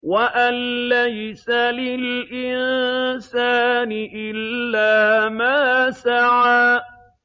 وَأَن لَّيْسَ لِلْإِنسَانِ إِلَّا مَا سَعَىٰ